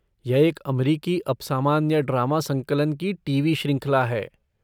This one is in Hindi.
यह एक अमरीकी अपसामान्य ड्रामा संकलन की टीवी श्रृंखला है।